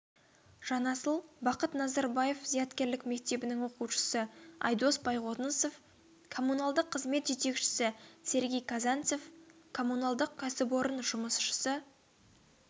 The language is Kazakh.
жанасыл бақыт назарбаев зияткерлік мектебінің оқушысы айдос байғонысов коммуналдық қызмет жетекшісі сергей казанцев коммуналдық кәсіпорын жұмысшысы